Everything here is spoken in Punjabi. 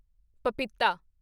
ਪਪੀਤਾ